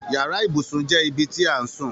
Yàrá ibùsùn jẹ ibi ti a n sún